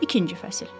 İkinci fəsil.